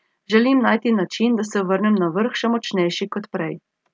Želim najti način, da se vrnem na vrh še močnejši kot prej.